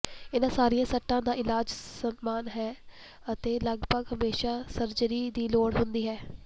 ਇਹਨਾਂ ਸਾਰੀਆਂ ਸੱਟਾਂ ਦਾ ਇਲਾਜ ਸਮਾਨ ਹੈ ਅਤੇ ਲਗਭਗ ਹਮੇਸ਼ਾ ਸਰਜਰੀ ਦੀ ਲੋੜ ਹੁੰਦੀ ਹੈ